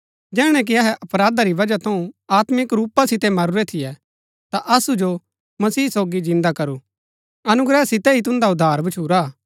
जैहणै कि अहै अपराधा री बजहा थऊँ आत्मिक रूपा सितै मरूरै थियै ता असु जो मसीह सोगी जिन्दा करू अनुग्रह सितै ही तुन्दा उद्धार भच्छुरा